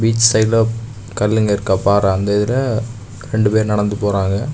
Beach சைடுல கல்லுங்க இருக்கா பாரா அந்த இதுல ரெண்டு பேர் நடந்து போறாங்க.